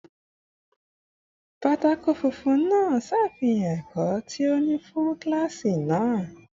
Pátákó funfun náà ṣàfihàn ẹ̀kọ́ ti òní fún kíláàsì náà